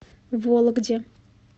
вологде